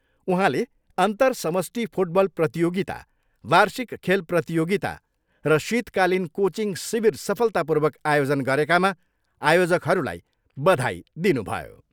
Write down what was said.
उहाँले अन्तर समष्टि फुटबल प्रतियोगिता, वार्षिक खेल प्रतियोगिता र शीतकालीन कोचिङ शिविर सफलतापूर्वक आयोजन गरेकामा आयोजकहरूलाई बधाई दिनुभयो।